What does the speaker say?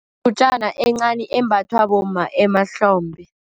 encani embathwa bomma emahlombe.